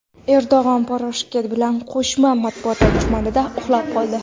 Erdo‘g‘on Poroshenko bilan qo‘shma matbuot anjumanida uxlab qoldi .